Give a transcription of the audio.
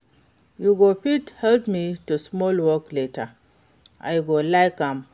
You go fit help me do small work later, I go like am.